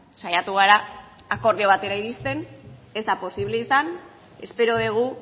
saiatu gara akordio batera irizten ez da posible espero dugu